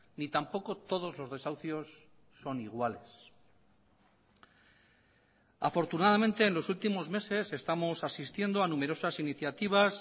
ni tampoco todos los desahucios son iguales afortunadamente en los últimos meses estamos asistiendo a numerosas iniciativas